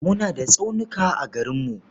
Muna da tsaunuka a garinmu.